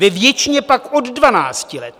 Ve většině pak od dvanácti let.